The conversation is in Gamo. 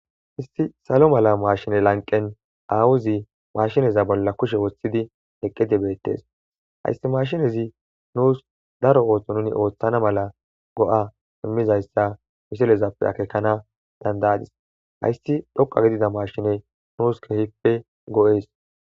Issi salo mala machine lanqen awozi mashineza bolla kushe wothidi eqidi betes haysi mashinezi nus neni daro ootho oothana mala go'a imizaysa misilezape akekana danada'adis haysi dhoqa gidida mashiney nus kehippe go'es